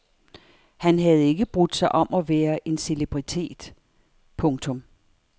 Han havde ikke brudt sig om at være en celebritet. punktum